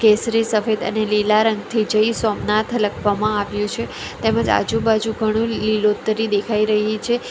કેસરી સફેદ અને લીલા રંગથી જય સોમનાથ લખવામાં આવ્યું છે તેમજ આજુબાજુ ઘણું લીલોતરી દેખાઈ રહી છે.